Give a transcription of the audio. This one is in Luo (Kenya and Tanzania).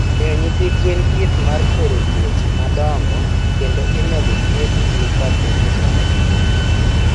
Miyo nyithi gwen thieth mar kwero tuoche madongo kendo imedo thiedhogi kapo ni dwarore.